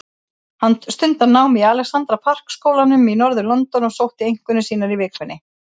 Hann stundar nám í Alexandra Park skólanum í norður-London og sótti einkunnir sínar í vikunni.